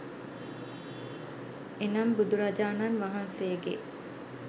එනම් බුදුරජාණන් වහන්සේගේ